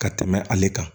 Ka tɛmɛ ale kan